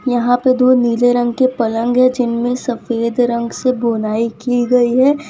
यहां पे दो नीले रंग के पलंग है जिनमें सफेद रंग से बुनाई की गई है।